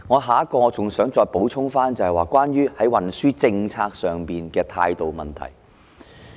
下一點我想補充的是關於運輸政策上的態度問題。